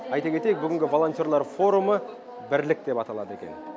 айта кетейік бүгінгі волонтерлар форумы бірлік деп аталады екен